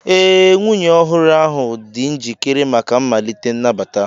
Ee, nwunye ọhụrụ ahụ dị njikere maka mmalite nnabata.